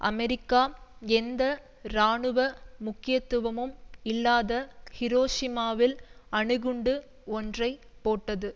America எந்த இராணுவ முக்கியத்துவமும் இல்லாத ஹிரோஷிமாவில் அணுகுண்டு ஒன்றை போட்டது